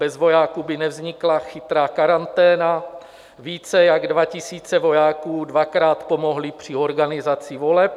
Bez vojáků by nevznikla Chytrá karanténa, více jak 2 000 vojáků dvakrát pomohly při organizaci voleb.